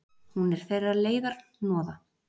Hún er þeirra leiðarhnoða.